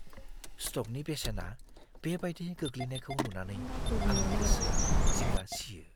स्टकनि बेसेना बेबायदि गोग्लैनायखौ नुनानै आंनि गोसोआ जिंगा सियो।